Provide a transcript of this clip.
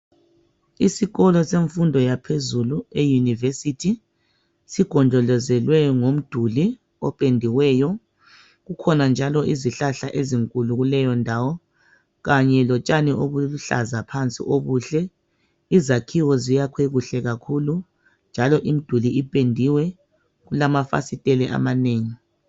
Isikolo semfundo yaphezulu eyunivesithi, sigonjolozelwe ngomduli opendiweyo. Kukhona njalo izihlahla ezinkulu kuleyondawo kanye lotshani obuluhlaza phansi obuhle. Izakhiwo ziyakhwe kuhle kakhulu, njalo imiduli ipendiwe kulamafasitele amanengi.